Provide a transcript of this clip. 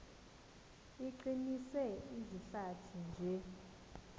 iqinise izihlathi nje